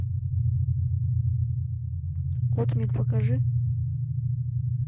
отмель покажи